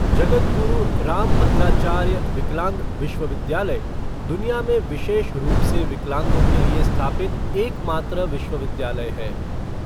जगद्गुरु रामभद्राचार्य विकलांग विश्वविद्यालय दुनिया में विशेष रूप से विकलांगों के लिए स्थापित एकमात्र विश्वविद्यालय है।